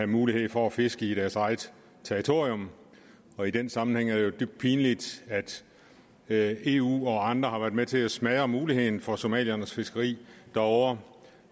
muligheden for at fiske på deres eget territorium og i den sammenhæng er det jo dybt pinligt at eu og andre har været med til at smadre muligheden for somaliernes fiskeri derovre